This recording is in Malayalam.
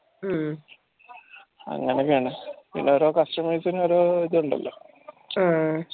അംങ്ങനെയാണ് പിന്നെ ഓരോ customer ഇൻ ഓരോ ഇതുണ്ടല്ലോ